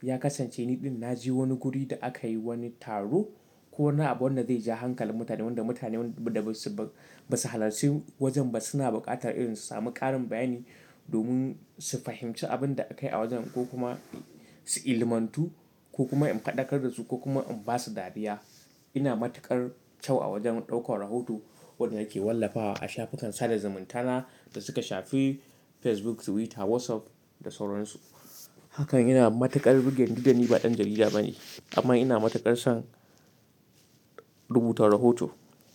ya kasance niɗin na je wani guri da aka yi wani taro ko wani abu wanda zai ja hankalin mutane, wanda mutane wanda basu halarci wajen ba suna buƙatar irin su sami ƙarin bayani domin su fahimci abin da aka yi a wajen ko kuma su ilimantu ko kuma in faɗakar da su ko kuma in ba su dariya. Ina matuƙar kyau a wajen ɗaukar rahoto wanda nake wallafa a shafukan sada zumunta na da suka shafi Facebook, Twitter, WhatsApp da sauransu. Hakan yana matuƙar rugen didan ni ba ɗan jarida bane amma ina matuƙar son rubuta rahoto.